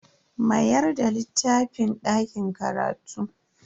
Mayar da littafin dakin karatu.